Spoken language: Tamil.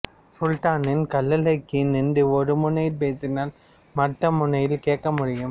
சுல்தான் கல்லறைக்கு நின்று ஒரு முனையில் பேசினால் மற்ற முனையில் கேட்க முடியும்